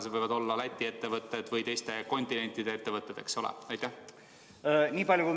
Seda võivad kasutada ka Läti ettevõtted või teiste kontinentide ettevõtted, eks ole?